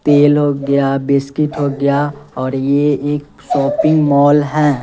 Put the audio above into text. तेल हो गया बिस्किट हो गया और ये एक शॉपिंग मॉल है।